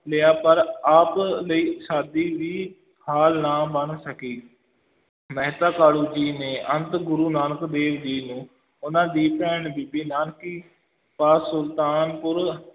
ਲਿਆ ਪਰ ਆਪ ਲਈ ਸ਼ਾਦੀ ਵੀ ਹਾਲ ਨਾ ਬਣ ਸਕੀ ਮਹਿਤਾ ਕਾਲੂ ਜੀ ਨੇ ਅੰਤ ਗੁਰੂ ਨਾਨਕ ਦੇਵ ਜੀ ਨੂੰ ਉਨ੍ਹਾਂ ਦੀ ਭੈਣ ਬੀਬੀ ਨਾਨਕੀ ਪਾਸ ਸੁਲਤਾਨਪੁਰ